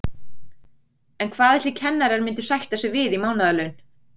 En hvað ætli kennarar myndu sætta sig við í mánaðarlaun?